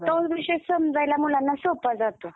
कारण तो विषय समजायला मुलांना सोपा जातो.